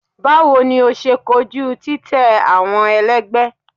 Bawo ni o ṣe koju titẹ awọn ẹlẹgbẹ?